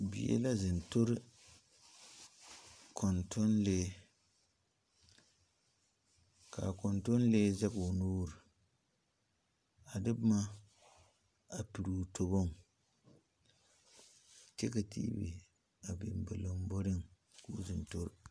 Bie la zeŋ tore kontoŋle. Ka a kontoŋle zeg o nuur a de boma a pire o tobɔŋ. Kyɛ ka tv a biŋ a ba lombɔreŋ k'o zeŋ tore